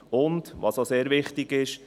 Auch sehr wichtig ist: